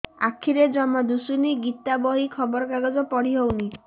ଆଖିରେ ଜମା ଦୁଶୁନି ଗୀତା ବହି ଖବର କାଗଜ ପଢି ହଉନି